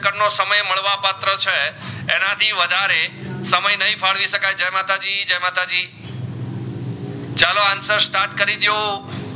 એના થી વધારે સમય નહીં ફડવી સકાઈ જાય માતાજી જાય માતાજી ચાલો answer start કરી ડો